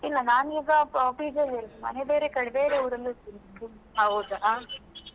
ಇಲ್ಲ ನನ್ ಈಗ PG ಅಲ್ಲಿ ಇರುದು ಮನೆ ಬೇರೆಕಡೆ ಬೇರೆ ಊರಲ್ಲಿ ಇರ್ತೀನಿ.